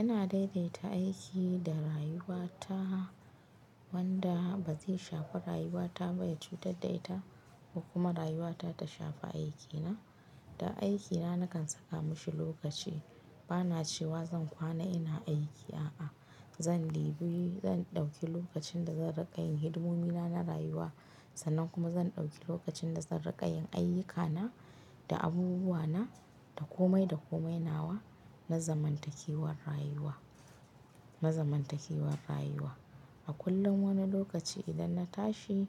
Ina daidaita aiki da rayuwa ta, wanda ba zai shafi rayuwa ta ba, ya cutar da ita ko kuma rayuwa ta ta shafa aikina. Da aikina nakan saka mashi lokaci. Bana cewa zan kwana ina aiki a'a, zan ɗauki lokacin da zan riƙa yin hidimomi na rayuwa sannan kuma zan ɗauki lokacin da zan riƙa yin ayyukana da abubuwa na da komai da komai nawa na zamantakewar rayuwa, na zamantakewar rayuwa. A kullum wani lokaci idan na tashi